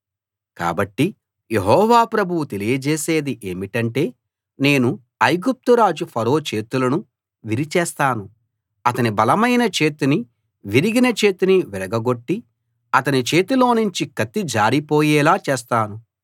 కాబట్టి యెహోవా ప్రభువు తెలియజేసేది ఏమిటంటే నేను ఐగుప్తురాజు ఫరో చేతులను విరిచేస్తాను అతని బలమైన చేతినీ విరిగిన చేతినీ విరగ గొట్టి అతని చేతిలోనుంచి కత్తి జారిపోయేలా చేస్తాను